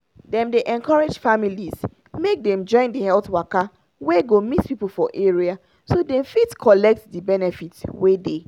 dem dey encourage families make dem join the health waka wey go meet people for area so dem fit collect the benefit wey dey